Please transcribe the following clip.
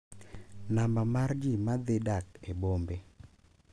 Namba mar ji ma dhi dak e bombe